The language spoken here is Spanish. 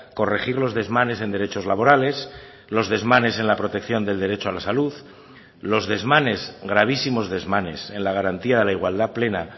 corregir los desmanes en derechos laborales los desmanes en la protección del derecho a la salud los desmanes gravísimos desmanes en la garantía de la igualdad plena